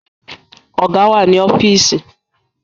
Ọ̀gá wà ní ọ́fíìsì